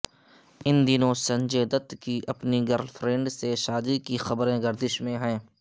ان دنوں سنجے دت کی اپنی گرل فرینڈ سے شادی کی خبریں گردش میں ہیں